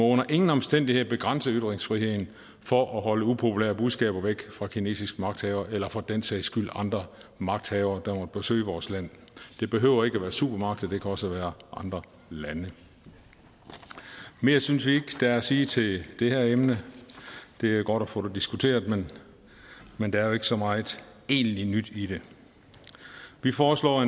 under ingen omstændigheder begrænse ytringsfriheden for at holde upopulære budskaber væk fra kinesiske magthavere eller for den sags skyld andre magthavere der måtte besøge vores land det behøver ikke at være supermagter det kan også være andre lande mere synes vi ikke der er at sige til det her emne det er godt at få det diskuteret men der er jo ikke så meget egentlig nyt i det vi foreslår